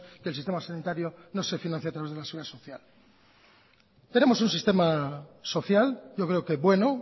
que el sistema sanitario no se financia a través de la seguridad social tenemos un sistema social yo creo que bueno